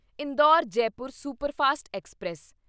Indore Jaipur superfast express